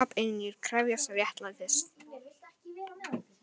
Apynjur krefjast réttlætis